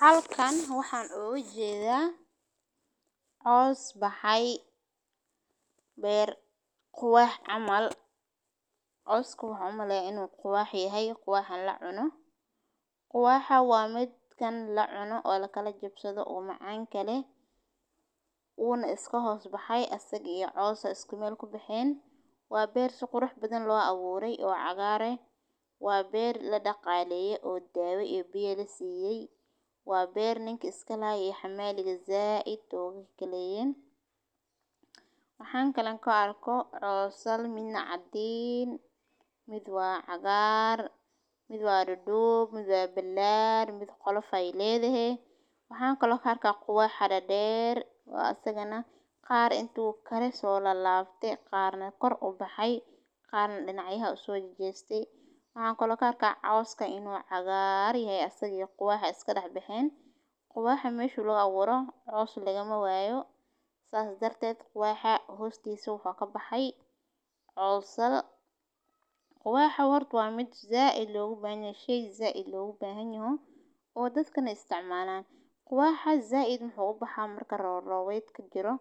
Halkan waxaan ugu jeedaa coos baxay beer quwaah camaal, coscu wuxuu maleen inuu kuwaaxi yahay iyo kuwaahan la cuno quwaaxa waa mid kan la cuno oo la kala jabsado ugu macaan kale uu na iska hus baxay astagii iyo coosa isku meel ku baxeen. Waa beer si qurux badan loo abuuray oo cagaare. Waa beer la dhaqaaleya oo daawa iyo biyo la siiyay. Waa beer ninkii iska laayay xamaa liga za'id toogikay kala yeeran. Waxaan kalanka arko roosal midna caddiin. Mid waad cagaar, mid waa dhadhuub, midwa bilaar mid qolo fay leedahay. Waxaan kula kharka quwaaxa dha dheer. Waa astagana qaar intuu kale soo la laabtay qaarnaa kor u baxay, qaar dhanacyaha u soo jeestay. Waxaan kula kharka coska inuu cagaari ah asag iyo quwaaxa iska dhex baxeen quwaaxa meesho looga waro coosu laga ma waayo. Saas darted quwaaxa hoostaysa wuxuu ka baxay coolsal. Quwaaxa wartu waa mid za'id loogu baahan yeeshee za'id loogu baahan yahuu oo dadkana istaamanaan. Quwaaxa za'id maxuu baxaa marka roowraydka jiro